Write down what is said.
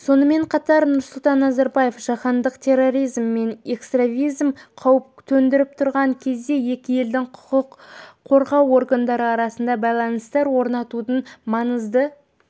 сонымен қатар нұрсұлтан назарбаев жаһандық терроризм мен экстремизм қауіп төндіріп тұрған кезде екі елдің құқық қорғау органдары арасында байланыстар орнатудың маңызды